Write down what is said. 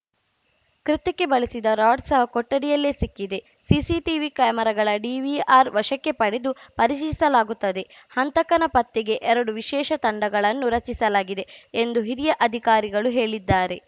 ಕೃತ್ಯಕ್ಕೆ ಬಳಸಿದ್ದ ರಾಡ್‌ ಸಹ ಕೊಠಡಿಯಲ್ಲೇ ಸಿಕ್ಕಿದೆ ಸಿಸಿಟಿವಿ ಕ್ಯಾಮೆರಾಗಳ ಡಿವಿಆರ್‌ ವಶಕ್ಕೆ ಪಡೆದು ಪರಿಶೀಲಿಸಲಾಗುತ್ತದೆ ಹಂತಕನ ಪತ್ತೆಗೆ ಎರಡು ವಿಶೇಷ ತಂಡಗಳನ್ನು ರಚಿಸಲಾಗಿದೆ ಎಂದು ಹಿರಿಯ ಅಧಿಕಾರಿಗಳು ಹೇಳಿದ್ದಾರೆ